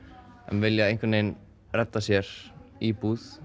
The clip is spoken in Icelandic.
vilja einhgvern vegin redda sér íbúð